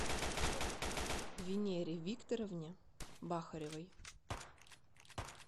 венере викторовне бахаревой